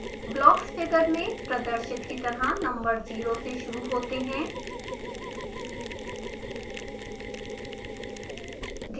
blocks figure में प्रदर्शित की तरह नंबर 0 ज़ीरो से शुरू होते हैं